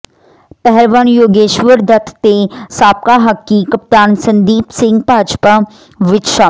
ਪਹਿਲਵਾਨ ਯੋਗੇਸ਼ਵਰ ਦੱਤ ਤੇ ਸਾਬਕਾ ਹਾਕੀ ਕਪਤਾਨ ਸੰਦੀਪ ਸਿੰਘ ਭਾਜਪਾ ਵਿੱਚ ਸ਼ਾਮਲ